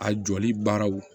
A jɔli baaraw